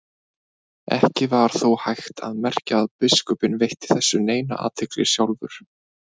Ekki var þó hægt að merkja að biskupinn veitti þessu neina athygli sjálfur.